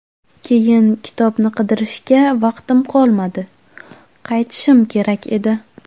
Keyin kitobni qidirishga vaqtim qolmadi, qaytishim kerak edi.